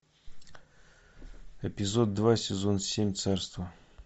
эпизод два сезон семь царство